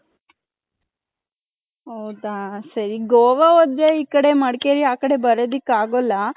ಹೌದ ಸರಿ ಗೋವ ಆದರೆ ಈ ಕಡೆ ಮಡಕೇರಿ ಆ ಕಡೆ ಬರದಿಕ್ಕೆ ಆಗಲ್ಲ .